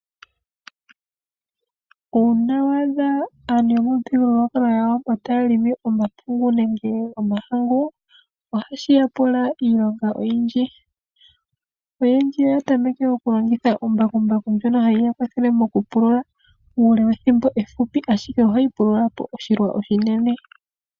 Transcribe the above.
Uuna waadha aantu yomuthigululwakalo gwAawambo taya helele omapungu nenge omahangu , ohashi ya pula iilonga oyindji . Oyendji oya tameke okulongitha mbakumbaku ngono heya kwathele okupulula methimbo efupi, ashike ohayi pulula oshilwa oshinene.